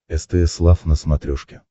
стс лав на смотрешке